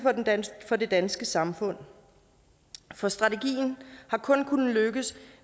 for det danske samfund for strategien har kun kunnet lykkes